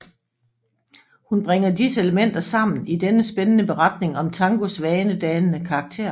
Hun bringer disse elementer sammen i denne spændende beretning om tangos vanedannende karakter